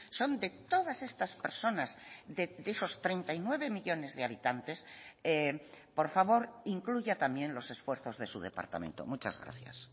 son de todas estas personas de esos treinta y nueve millónes de habitantes por favor incluya también los esfuerzos de su departamento muchas gracias